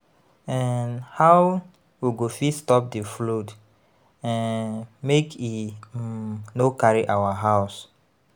um How we go fit stop di flood um make e um no carry our house?